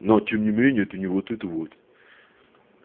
но тем не менее это не вот это вот